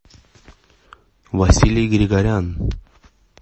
василий григорян